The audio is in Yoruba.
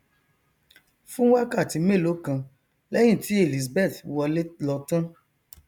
fún wákàtí mélòó kan lẹhìn tí elizabeth wọlé lọ tán